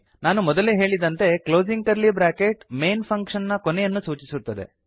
ನಾನು ಮೊದಲೇ ಹೇಳಿದಂತೆ closing curly bracket main function ನ ಕೊನೆಯನ್ನು ಸೂಚಿಸುತ್ತದೆ